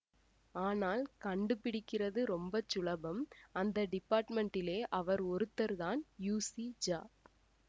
ஆனால் கண்டுபிடிக்கிறது ரொம்ப சுலபம் அந்த டிபார்ட்மெண்ட்டிலே அவர் ஒருத்தர்தான் யூஸிஜா